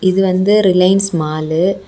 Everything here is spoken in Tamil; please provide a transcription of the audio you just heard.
இது வந்து ரிலையன்ஸ் மாலு .